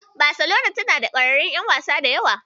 Baselona tana da ƙwararrun ƴan wasa da yawa.